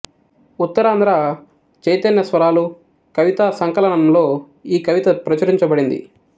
ఉత్తరాంధ్ర చైతన్య స్వరాలు కవితా సంకలనంలో ఈ కవిత ప్రచురించబడింది